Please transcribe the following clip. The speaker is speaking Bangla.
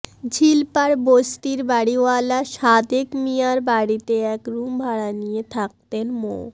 ঝিলপাড় বস্তির বাড়িওয়ালা সাদেক মিয়ার বাড়িতে এক রুম ভাড়া নিয়ে থাকতেন মো